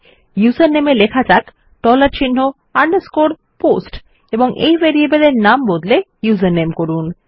উসের নামে হিসাবে লেখা যাক ডলার চিন্হ আন্ডারস্কোর পোস্ট এবং এই ভেরিয়েবল এর নাম বদলে ইউজারনেম করুন